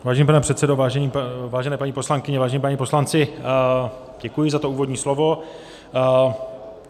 Vážený pane předsedo, vážené paní poslankyně, vážení páni poslanci, děkuji za to úvodní slovo.